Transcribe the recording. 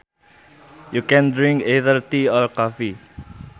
You can drink either tea or coffee